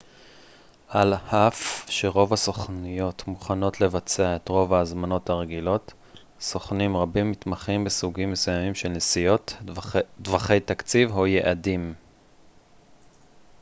על אף שרוב הסוכנויות מוכנות לבצע את רוב ההזמנות הרגילות סוכנים רבים מתמחים בסוגים מסוימים של נסיעות טווחי תקציב או יעדים